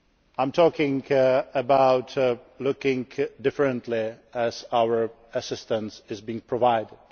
I am talking about looking differently at how our assistance is being provided.